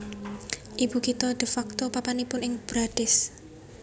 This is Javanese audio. Ibu kitha de facto papanipun ing Brades